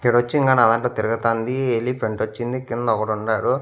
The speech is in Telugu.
ఇక్కడొచ్చి ఇంగా నా దాంట్లో తిరుగుతాంది ఎలిఫెంట్ వచ్చింది కింద ఒగడుండారు.